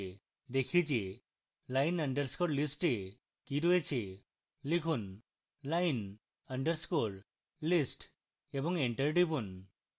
দেখি যে line _ list এ কি রয়েছে